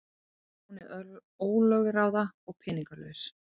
Hún er ólögráða og peningalaus.